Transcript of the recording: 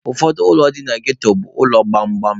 Ụfọdụ ụlọ dị na ghetto bụ ụlọ gbamgbam.